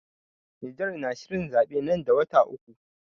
Niger na shirin zaɓe nan da wata uku.